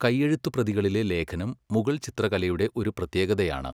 കൈയ്യഴുത്ത് പ്രതികളിലെ ലേഖനം മുഗൾ ചിത്രകലയുടെ ഒരു പ്രത്യേകതയാണ്